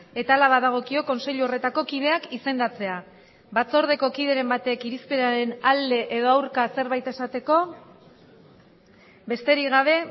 eta hala badagokio kontseilu horretako kideak izendatzea batzordeko kideren batek irizpenaren alde edo aurka zerbait esateko besterik gabe